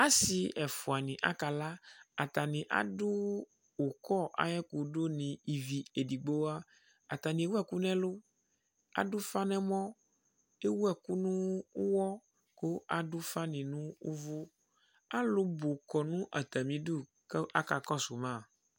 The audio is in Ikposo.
Asɩ ɛfʋa nɩ akala Atani adʋ ʋkɔ ayʋ ɛkʋdʋ ni ivi edigbo wa Atani ewu ɛkʋ nʋ ɛlʋ, kʋ adu ufa nʋ ɛmɔ, kʋ ewu ɛkʋ nʋ ʋwɔ, kʋ adu ufa ni nʋ uvu Alubʋ adʋ atami ɩdʋ kʋ aka kɔsʋ ma